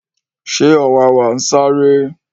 ṣé ọ̀wàwà ń sáré?